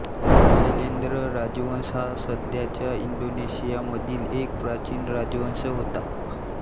शैलेन्द्र राजवंश हा सध्याच्या इंडोनेशियामधील एक प्राचीन राजवंश होता